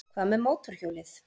Hvað með mótorhjólið?